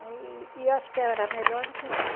E e acho que era melhor do que aqui.